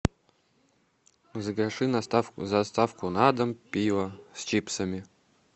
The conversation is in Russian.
закажи доставку на дом пиво с чипсами